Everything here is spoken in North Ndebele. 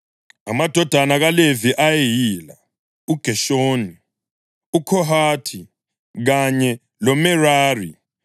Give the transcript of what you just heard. Amadodana kaLevi ayeyila: uGeshoni, uKhohathi kanye loMerari.